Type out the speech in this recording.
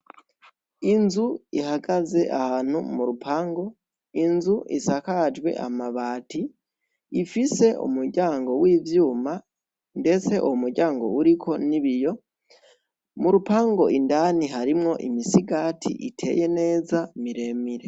Inzu ihagaze ahantu mu rupangu inzu iskajwe amabati ifise umuryango w'ivyuma ndetse uwo mu ryango uriko n'ibiyo mu rupangu indni hrimwo imisigati iteye neza miremire.